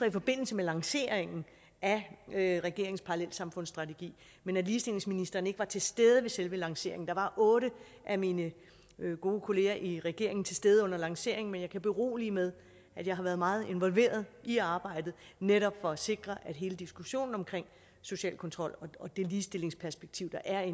i forbindelse med lanceringen af regeringens parallelsamfundsstrategi men at ligestillingsministeren ikke var til stede ved selve lanceringen der var otte af mine gode kollegaer i regeringen til stede under lanceringen men jeg kan berolige med at jeg har været meget involveret i arbejdet netop for at sikre at hele diskussionen omkring social kontrol og det ligestillingsperspektiv der er i